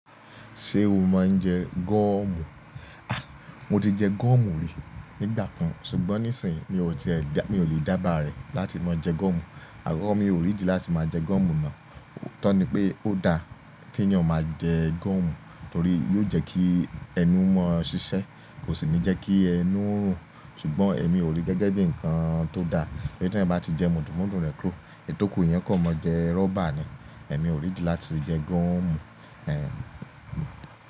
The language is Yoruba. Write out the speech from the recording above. Ṣé o máa ń jẹ gọ́ọ̀mù? Mo ti jẹ gọ́ọ̀mù rí nígbà kan ṣùgbọ́n nísìnyí mi ò lè dába rẹ̀ láti máa jẹ gọ́ọ̀mù. Àkọ́kọ́ mi ò rí ìdí láti máa jẹ gọ́ọ̀mù ná. Òótọ́ ni pé ó da kí èyàn máa jẹ gọ́ọ̀mù torí yóò jẹ́ kí ẹnu máa ṣiṣẹ́, kò sì ní jẹ́ kí ẹnu rùn, ṣùgbọ́n èmi ò rí gẹ́gẹ́ bí ǹkan tó da. Tori tí ẹ̀eyan bá ti jẹ mùdùnmudùn rẹ́ kúro, èyi tòku yẹn eeyan o kan maa jẹ rọ́bà ni. Èmi ò rí ìdí láti jẹ gọ́ọ̀mù.